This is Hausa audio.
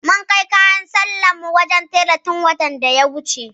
Mun kai kayan sallar mu wajen tela tun watan da ya wuce.